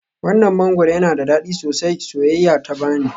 Wannan mangwaro yana da dadi sosai, soyayya ta bani.